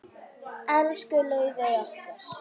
Elsku Laufey okkar.